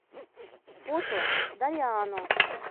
фото дариано